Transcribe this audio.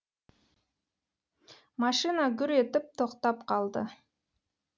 машина гүр етіп тоқтап қалды